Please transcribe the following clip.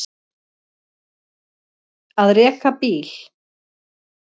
Að reka bíl